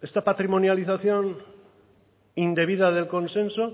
esta patrimonialización indebida del consenso